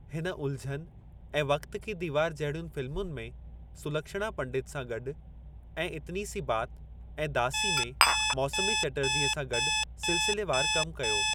हिन उलझन ऐं वक्त की दीवार जहिड़ियुनि फ़िल्मुनि में सुलक्षणा पंडित सां गॾु ऐं इतनी सी बात ऐं दासी में मौसमी चटर्जीअ सां गॾु सिलसिलेवारु कमु कयो।